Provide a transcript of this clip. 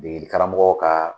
dege degeli karamɔgɔ ka